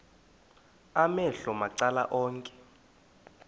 amehlo macala onke